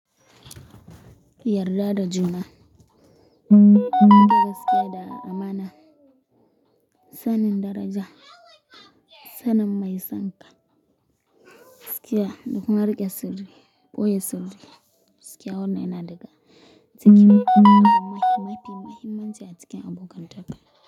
Yarda da juna, rike gaskiya da amana, sanin daraja, sanin mai sanka. Gakkiya, dakuma riƙe sirri boye sirri. Gaskiya wannan yana daga cikin mafi mahimmanci a cikin abokan taka.